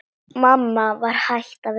Mamma var hætt að vinna.